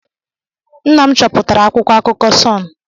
Nna m chọpụtara akwụkwọ akụkọ Sun.